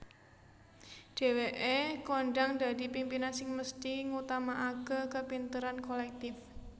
Dhéwéke kondhang dadi pimpinan sing mesthi ngutamaakè kapinteran kolèktif